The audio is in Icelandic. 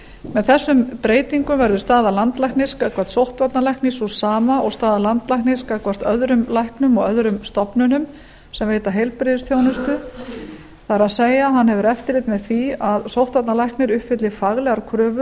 með þessum breytingum verður staða landlæknis gagnvart sóttvarnalækni sú sama og staða landlæknis gagnvart öðrum læknum og öðrum stofnunum sem veita heilbrigðisþjónustu það er að hann hefur eftirlit með því að sóttvarnalækni uppfylli faglegar kröfur